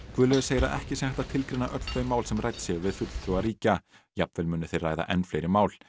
Guðlaugur segir að ekki sé hægt að tilgreina öll þau mál sem rædd séu við fulltrúa ríkja jafnvel muni þeir ræða enn fleiri mál